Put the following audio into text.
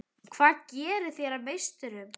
Hvað gerir þær að meisturum?